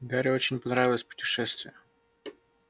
гарри очень понравилось путешествие